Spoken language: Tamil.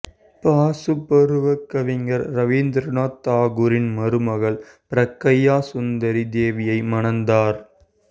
பாசுபரூவா கவிஞர் இரவீந்திரநாத் தாகூரின் மருமகள் பிரக்யாசுந்தரி தேவியை மணந்தார்